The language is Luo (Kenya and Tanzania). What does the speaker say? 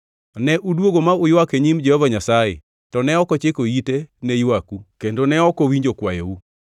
Ne udwogo ma uywak e nyim Jehova Nyasaye to ne ok ochiko ite ne ywaku kendo ne ok owinjo kwayou.